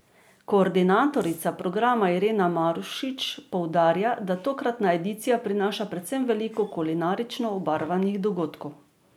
Koordinatorica programa Irena Marušič poudarja, da tokratna edicija prinaša predvsem veliko kulinarično obarvanih dogodkov.